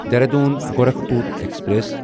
Dehradun Gorakhpur express